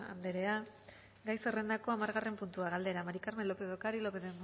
anderea gai zerrendako hamargarren puntua galdera maría del carmen lópez de ocariz lópez